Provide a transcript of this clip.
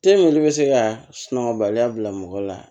olu bɛ se ka sunɔgɔ baliya bila mɔgɔ la